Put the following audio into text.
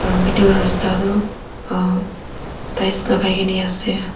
middle rasta toh ah tiles la kai kena ase.